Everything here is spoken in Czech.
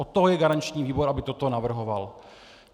Od toho je garanční výbor, aby toto navrhoval.